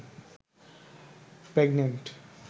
pregnant